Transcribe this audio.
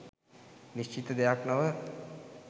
නිශ්චිත දෙයක් නොව